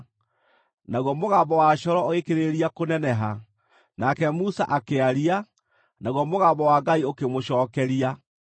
naguo mũgambo wa coro ũgĩkĩrĩrĩria kũneneha. Nake Musa akĩaria, naguo mũgambo wa Ngai ũkĩmũcookeria.